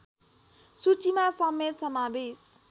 सूचीमा समेत समावेश